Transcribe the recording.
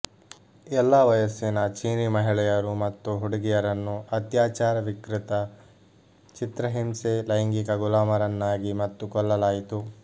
ಎಲ್ಲಾ ವಯಸ್ಸಿನ ಚೀನಿ ಮಹಿಳೆಯರು ಮತ್ತು ಹುಡುಗಿಯರನ್ನು ಅತ್ಯಾಚಾರ ವಿಕೃತ ಚಿತ್ರಹಿಂಸೆ ಲೈಂಗಿಕ ಗುಲಾಮರನ್ನಾಗಿ ಮತ್ತು ಕೊಲ್ಲಲಾಯಿತು